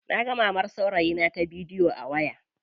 Naga mamar saurayina ta bidiyo a waya.